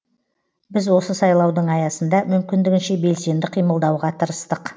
біз осы сайлаудың аясында мүмкіндігінше белсенді қимылдауға тырыстық